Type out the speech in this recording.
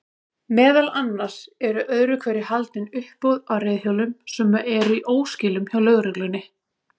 Meðal annars eru öðru hverju haldin uppboð á reiðhjólum sem eru í óskilum hjá lögreglunni.